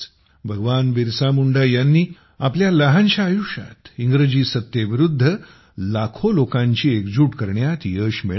भगवान बिरसा मुंडा यांनी आपल्या लहानशा आयुष्यात इंग्रजी सत्तेविरुद्ध लाखो लोकांची एकजूट करण्यात यश मिळविले